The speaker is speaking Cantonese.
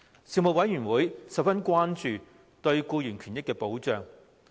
事務委員會十分關注僱員權益保障。